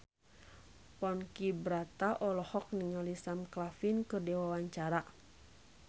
Ponky Brata olohok ningali Sam Claflin keur diwawancara